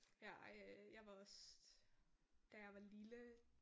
Ja ej jeg var også. Da jeg var lille